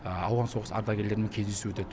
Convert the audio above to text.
ауған соғысы ардагерлерімен кездесу өтеді